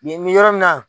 Nin bɛ yɔrɔ min na